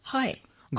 তৰন্নুম খানঃ হয়